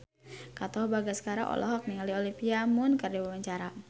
Katon Bagaskara olohok ningali Olivia Munn keur diwawancara